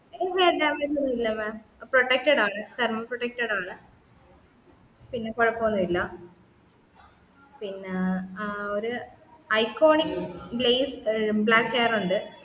hair damage ഒന്നും ഇല്ല mam protected ആണ് thermo protected ആണ് പിന്ന കുഴപ്പോന്നില്ല പിന്ന ഏർ ഒരു ഐകോണിക് glazed black hair ഉണ്ട്